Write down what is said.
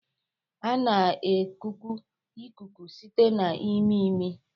A na-ekuku ikuku site na imi imi